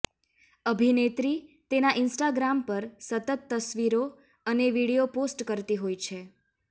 અભિનેત્રી તેના ઇન્સ્ટાગ્રામ પર સતત તસવીરો અનો વીડિયો પોસ્ટ કરતી હોય છે